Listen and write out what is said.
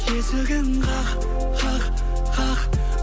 есігін қақ қақ қақ